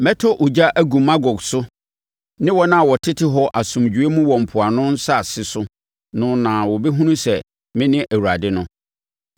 Mɛtɔ ogya agu Magog so ne wɔn a wɔtete hɔ asomdwoeɛ mu wɔ mpoano nsase so no na wɔbɛhunu sɛ mene Awurade no.